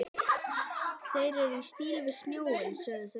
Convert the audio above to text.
Þeir eru í stíl við snjóinn, sögðu þau.